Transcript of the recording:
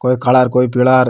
कोई काला कोई पीला --